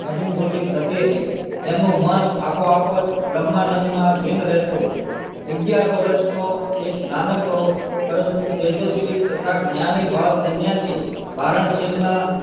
ની અનુભૂતિ થતી હતી તેમનું મન આપોઆપ જ બ્રહ્માનંન્દ માં લીન રહેતું હતું અગિયાર વર્ષ નો એક નાનકડો પણ પરંતુ તેજશવી તથા જ્ઞાની બાળ સન્યાસી વારાણસી માં